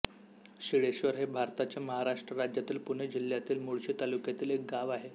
शिळेश्वर हे भारताच्या महाराष्ट्र राज्यातील पुणे जिल्ह्यातील मुळशी तालुक्यातील एक गाव आहे